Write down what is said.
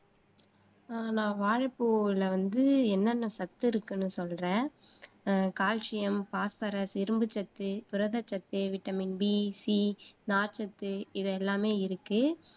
அஹ் நான் வாழைப்பூவுல வந்து என்னென்ன சத்து இருக்குன்னு சொல்றேன் கால்சியம், பாஸ்பரஸ், இரும்பு சத்து, புரத சத்து, வைட்டமின் டி, சி, நார்ச்சத்து இது எல்லாமே இருக்கு